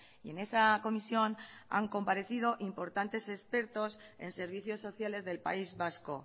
y en esa comisión han comparecido importantes expertos en servicios sociales del país vasco